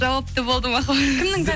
жауапты болды махаббат